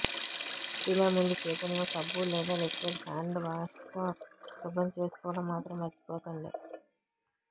తినే ముందు చేతులను సబ్బు లేదా లిక్విడ్ హ్యండ్ వాష్తో శుభ్రం చేసుకోవడం మాత్రం మర్చిపోకండి